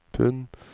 pund